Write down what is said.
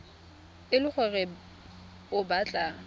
e le gore o batla